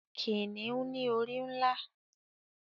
Kìniún ni orí nlá